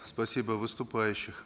спасибо выступающих